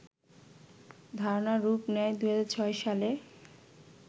ধারণা রূপ নেয় ২০০৬ সালে